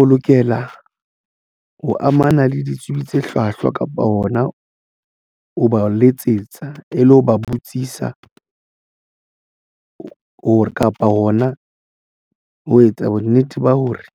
O lokela ho amana le ditsibi tse hlwahlwa kapa hona ho ba letsetsa e le ho ba botsisa hore kapa hona ho etsa bonnete ba hore